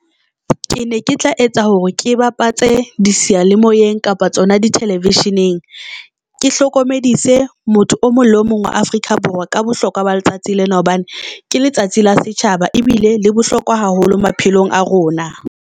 Ke ne ke tla etsa hore ke bapatse di seyalemoyeng kapa tsona dithelevisheneng. Ke hlokomedise motho o mong le o mong wa Afrika Borwa ka bohlokwa ba letsatsi lena hobane ke letsatsi la setjhaba ebile le bohlokwa haholo maphelong a rona.